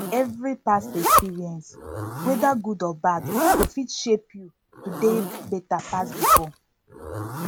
evri past experience weda gud or bad go fit shape yu to dey beta pass bifor